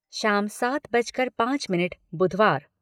शाम सात बजकर पाँच मिनट बुधवार